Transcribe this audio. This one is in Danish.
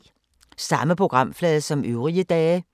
Samme programflade som øvrige dage